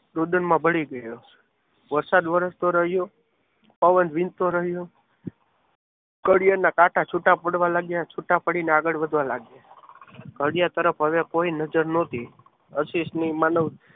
રુદનમાં વળી ગયો વરસાદ વરસતો રહ્યો પવન વિજતો રહ્યો ઘડિયાળના કાંટા છૂટા પડવા લાગ્યા. છૂટા પડીને આગળ વધવા લાગ્યા ઘડિયાળ તરફ હવે કોઈ નજર ન હતી.